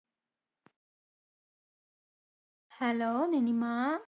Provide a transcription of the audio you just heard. Hello നിനിമാ.